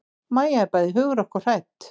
Mæja er bæði hugrökk og hrædd.